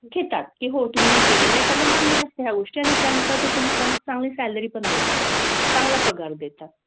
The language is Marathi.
घेतात की हो तुम्ही केलेलं आहे त्यांना मान्य असते ह्या गोष्टी आणि त्यानुसार ते तुम्हाला मग चांगली salary पण देतात. चांगला पगार देतात.